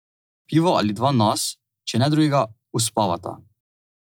Pivo ali dva nas, če ne drugega, uspavata.